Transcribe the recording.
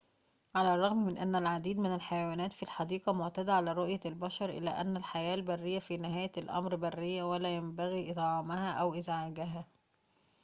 على الرغم من أن العديد من الحيوانات في الحديقة معتادة على رؤية البشر إلا أن الحياة البريّةَ في نهاية الأمر بريّةٌ ولا ينبغي إطعامها أو إزعاجها